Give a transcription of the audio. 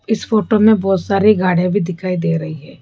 इस फोटो में बहोत सारी गाड़ियां भी दिखाई दे रही है।